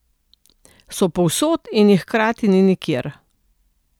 So povsod in jih hkrati ni nikjer.